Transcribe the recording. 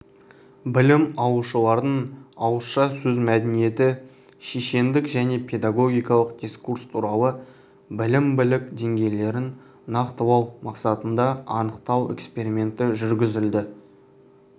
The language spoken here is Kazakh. білім алушылардың ауызша сөз мәдениеті шешендік және педагогикалық дискурс туралы білім білік деңгейлерін нақтылау мақсатында анықтау эксперименті жүргізілді